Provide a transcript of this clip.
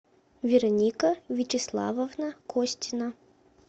вероника вячеславовна костина